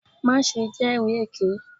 Maṣe jẹri eke!